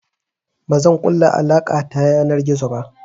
Bazan ƙulla alaƙa ta yanar gizo ba.